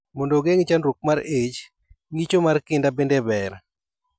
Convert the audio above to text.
Mondo ogeng'i chandruok mar ich, ng'icho mar kinda bende ber